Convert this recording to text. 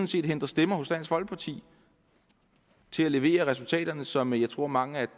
set hente stemmer hos dansk folkeparti til at levere resultaterne som jeg tror mange af